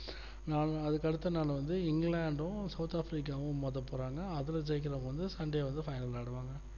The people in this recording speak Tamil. நாள நாளைக்கு அடுத்தநாள் வந்து இங்கிலாந்தும் south africa மோத போறாங்க அதுல ஜெய்க்குரவங்க வந்து sunday வந்து final விளையாடுவாங்க